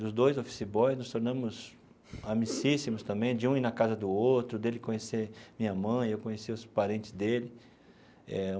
Os dois office boys, nos tornamos amicíssimos também, de um ir na casa do outro, dele conhecer minha mãe, eu conhecer os parentes dele eh.